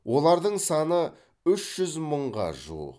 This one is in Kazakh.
олардың саны үш жүз мыңға жуық